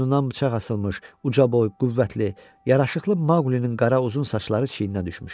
Boynundan bıçaq asılmış, uca boylu, qüvvətli, yaraşıqlı Maqlinin qara, uzun saçları çiyininə düşmüşdü.